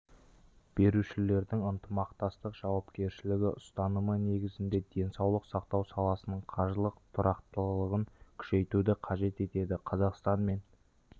берушілердің ынтымақтастық жауапкершілігі ұстанымы негізінде денсаулық сақтау саласының қаржылық тұрақтылығын күшейтуді қажет етеді қазақстан мен